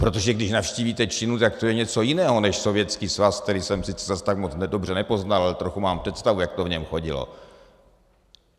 Protože když navštívíte Čínu, tak to je něco jiného než Sovětský svaz, který jsem sice zas tak moc dobře nepoznal, ale trochu mám představu, jak to v něm chodilo.